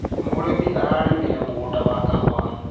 Mũrĩmi ararĩmire mũgũnda wa kahũa.